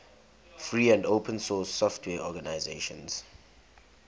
free and open source software organizations